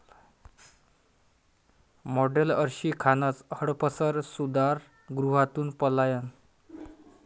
model Arshi खानचं हडपसर सुधारगृहातून पलायन